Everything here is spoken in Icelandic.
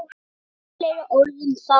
Ekki fleiri orð um það!